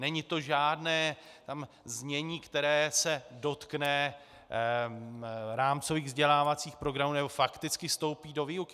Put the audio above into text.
Není to žádné znění, které se dotkne rámcových vzdělávacích programů nebo fakticky vstoupí do výuky.